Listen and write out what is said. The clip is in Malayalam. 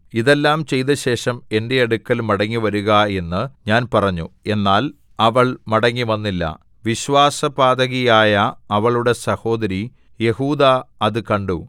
ഇതെല്ലാം ചെയ്തശേഷം എന്റെ അടുക്കൽ മടങ്ങിവരുക എന്നു ഞാൻ പറഞ്ഞു എന്നാൽ അവൾ മടങ്ങിവന്നില്ല വിശ്വാസപാതകിയായ അവളുടെ സഹോദരി യെഹൂദാ അത് കണ്ടു